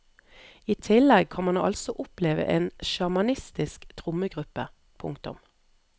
I tillegg kan man altså oppleve en sjamanistisk trommegruppe. punktum